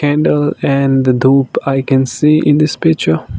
in the and dhoop i can see in this picture.